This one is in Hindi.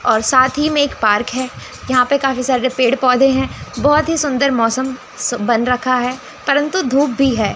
और साथ ही में एक पार्क है यहां पर काफी सारे पेड़ पौधे हैं बहोत ही सुंदर मौसम बन रखा है परंतु धूप भी है।